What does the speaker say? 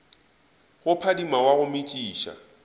go phadima wa go metšiša